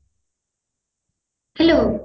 hello